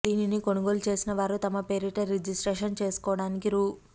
దీనిని కొనుగోలు చేసిన వారు తమ పేరిట రిజిస్ట్రేషన్ చేసుకోవడానికి రూ